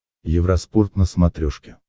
евроспорт на смотрешке